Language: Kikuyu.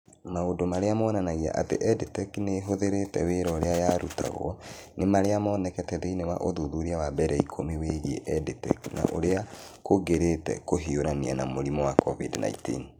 Maũndũ marĩa monanagia atĩ EdTech nĩ ĩhũthĩrĩte wĩra ũrĩa yarutagwo, nĩ marĩa monekete thĩinĩ wa ũthuthuria wa mbere ikũmi wĩgiĩ EdTech na ũrĩa kũngĩrĩte kũhiũrania na mũrimũ wa COVID-19.